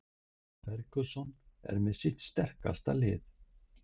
Ferguson með sitt sterkasta lið